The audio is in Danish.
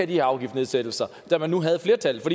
de afgiftsnedsættelser da man havde flertallet